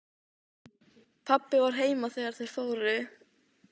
Við sýnum það hérna úti í bílskúr.